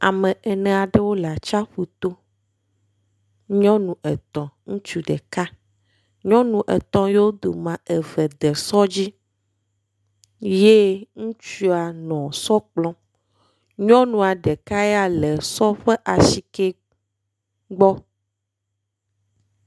Ame ene aɖewo le atsiaƒu to, nyɔnu etɔ̃, ŋutsu ɖeka. Nyɔnu etɔ̃ yewo domea, eve de sɔ dzi ye ŋutsua nɔ sɔ kplɔm. Nyɔnua ɖeka ya le sɔ ƒs asike gbɔ.